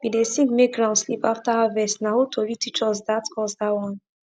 we dey sing make ground sleep after harvest na old tori teach us that us that one